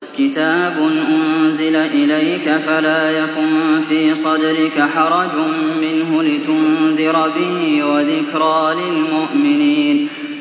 كِتَابٌ أُنزِلَ إِلَيْكَ فَلَا يَكُن فِي صَدْرِكَ حَرَجٌ مِّنْهُ لِتُنذِرَ بِهِ وَذِكْرَىٰ لِلْمُؤْمِنِينَ